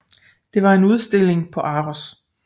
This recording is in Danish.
Det var en udstilling på ARoS